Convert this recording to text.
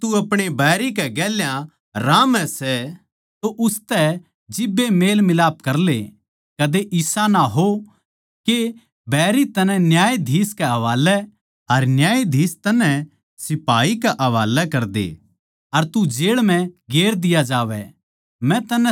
जिब ताहीं तू अपणे बैरी के गेल्या रास्तै म्ह ए सै उसतै जिब्बे मेल मिलाप करले कदे इसा ना हो के बैरी तन्नै न्यायाधीश के हवालै अर न्यायाधीश तन्नै सिपाही के हवालै करदे अर तू जेळ म्ह गेर दिया जावै